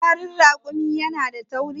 fitsarin rakumi yana da tauri